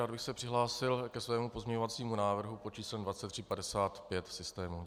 Rád bych se přihlásil ke svému pozměňovacímu návrhu pod číslem 2355 v systému.